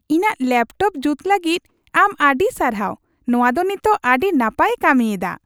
ᱤᱧᱟᱹᱜ ᱞᱮᱯᱴᱚᱯ ᱡᱩᱛ ᱞᱟᱹᱜᱤᱫ ᱟᱢ ᱟᱹᱰᱤ ᱥᱟᱨᱦᱟᱣ ᱾ ᱱᱚᱶᱟ ᱫᱚ ᱱᱤᱛᱚᱜ ᱟᱹᱰᱤ ᱱᱟᱯᱟᱭ ᱮ ᱠᱟᱹᱢᱤ ᱮᱫᱟ ᱾